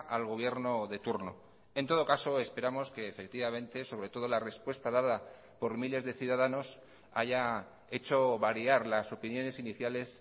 al gobierno de turno en todo caso esperamos que efectivamente sobre todo la respuesta dada por miles de ciudadanos haya hecho variar las opiniones iniciales